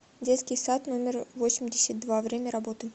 детский сад номер восемьдесят два время работы